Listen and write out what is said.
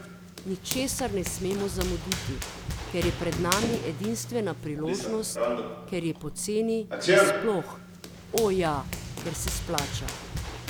Ničesar ne smemo zamuditi, ker je pred nami edinstvena priložnost, ker je poceni in sploh, o, ja, ker se splača.